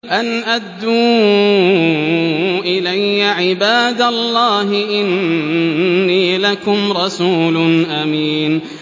أَنْ أَدُّوا إِلَيَّ عِبَادَ اللَّهِ ۖ إِنِّي لَكُمْ رَسُولٌ أَمِينٌ